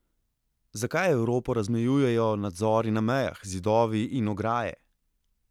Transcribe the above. Zakaj Evropo razmejujejo nadzori na mejah, zidovi in ograje?